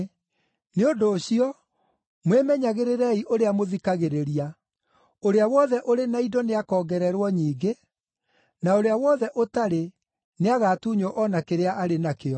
Nĩ ũndũ ũcio mwĩmenyagĩrĩrei ũrĩa mũthikagĩrĩria. Ũrĩa wothe ũrĩ na indo nĩakongererwo nyingĩ; na ũrĩa wothe ũtarĩ nĩagatuunywo o na kĩrĩa arĩ nakĩo.”